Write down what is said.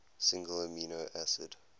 single amino acid